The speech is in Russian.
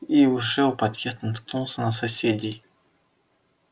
и уже у подъезда наткнулся на соседей